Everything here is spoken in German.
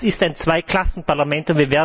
Das ist ein Zweiklassen Parlament.